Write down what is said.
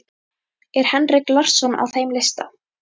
Er Henrik Larsson á þeim lista?